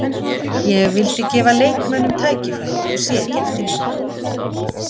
Ég vildi gefa leikmönnum tækifæri og sé ekki eftir neinu.